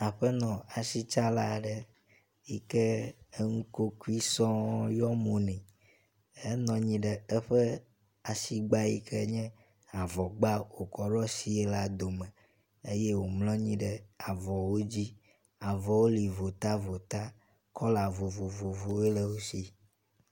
Aƒenɔ asitsala aɖe yike enukokoe sɔŋ yɔ mo nɛ. Enɔ anyi ɖe eƒe asigba yike nye avɔ gba wòtsɔ ɖo asie la dome eye wòmlɔ anyi ɖe avɔwo dzi. Avɔwo li votavota, kɔla vovovowoe le wo si.